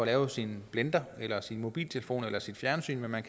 lavet sin blender eller sin mobiltelefon eller sit fjernsyn når man